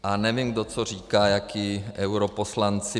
A nevím, kdo co říká, jací europoslanci.